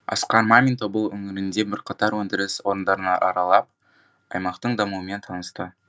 асқар мамин тобыл өңірінде бірқатар өндіріс орындарын аралап аймақтың дамуымен танысты